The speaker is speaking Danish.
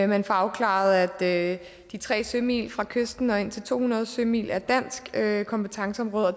man får afklaret at de tre sømil fra kysten og indtil to hundrede sømil er dansk kompetenceområde og at